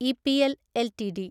EPL LTD